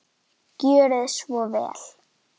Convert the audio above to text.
Gjörið svo vel!